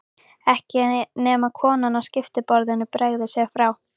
Ekki nema konan á skiptiborðinu bregði sér frá.